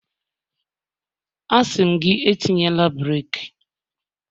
A sị m gị, etinyela breeki